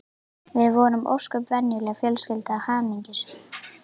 Við vorum ósköp venjuleg fjölskylda, hamingjusöm.